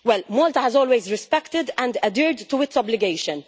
Malta has always respected and adhered to its obligations.